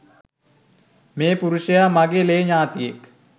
මේ පුරුෂයා මගේ ලේ ඥාතීයෙක්.